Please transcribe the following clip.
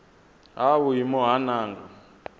ha vhuimo ha nha nga